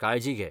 काळजी घे.